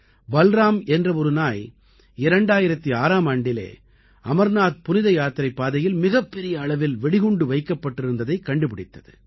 பல்ராம் என்ற ஒரு நாய் 2006ஆம் ஆண்டிலே அமர்நாத் புனித யாத்திரைப் பாதையில் மிகப்பெரிய அளவில் வெடிகுண்டு வைக்கப்பட்டிருந்ததைக் கண்டுபிடித்தது